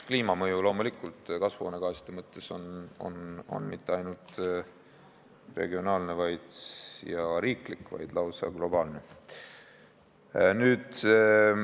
Kliimamõju kasvuhoonegaaside mõttes ei ole loomulikult mitte ainult regionaalne ja riiklik, vaid lausa globaalne.